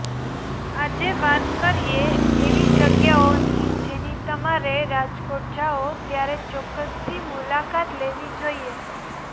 આજે વાત કરીએ એવી જગ્યાઓની જેની તમારે રાજકોટ જાઓ ત્યારે ચોક્કસથી મુલાકાત લેવી જોઈએ